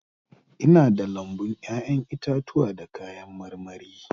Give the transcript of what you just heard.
Ina da lambun 'ya'yan itatuwa da kayan marmari.